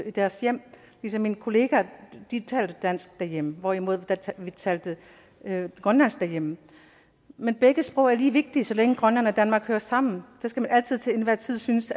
i deres hjem ligesom min kollega de taler dansk derhjemme hvorimod vi talte grønlandsk derhjemme men begge sprog er lige vigtige så længe grønland og danmark hører sammen der skal man altid og til enhver tid synes